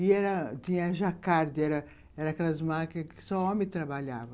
E tinha a Jacquard, aquelas máquinas que só homem trabalhava.